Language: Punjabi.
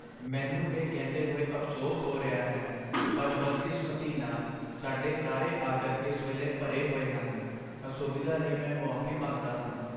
ਮੈਨੂੰ ਇਹ ਕਹਿੰਦੇ ਹੋਏ ਅਫ਼ਸੋਸ ਹੋ ਰਿਹਾ ਹੈ, ਪਰ ਬਦਕਿਸਮਤੀ ਨਾਲ, ਸਾਡੇ ਸਾਰੇ ਆਰਡਰ ਇਸ ਵੇਲੇ ਭਰੇ ਹੋਏ ਹਨ। ਅਸੁਵਿਧਾ ਲਈ ਮੈਂ ਮੁਆਫ਼ੀ ਮੰਗਦਾ ਹਾਂ।